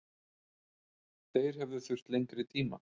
Þeir hefðu þurft lengri tíma.